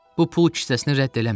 Bu pul kisəsini rədd eləmə.